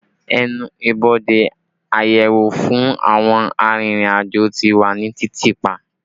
Ẹnu ibodè àyẹ̀wò fún àwọn arìnrìn-àjò ti wà ní títì pa